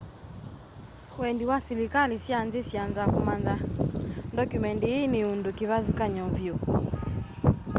wendi wa silikali sya nthi syanza kumanya ndokyumendi ii ni undu kivathukany'o vyu